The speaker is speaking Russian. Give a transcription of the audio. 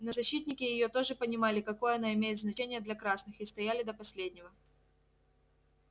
но защитники её тоже понимали какое она имеет значение для красных и стояли до последнего